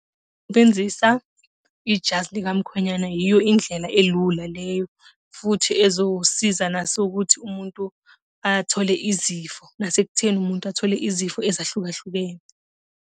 ijazi likamkhwenyana yiyo indlela elula leyo, futhi ezosiza naso ukuthi umuntu athole izifo, nasekutheni umuntu athole izifo ezahlukahlukene.